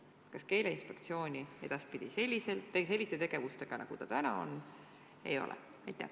Kas Keeleinspektsiooni selliste tegevustega, nagu praegu on, edaspidi ei ole?